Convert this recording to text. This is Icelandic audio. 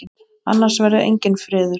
Annars verður enginn friður.